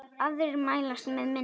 Aðrir mælast með minna.